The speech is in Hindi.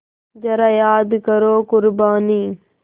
ज़रा याद करो क़ुरबानी